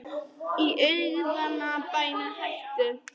Í guðanna bænum hættu